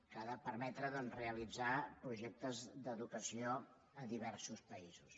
que ha de permetre realitzar projectes d’educació a diversos països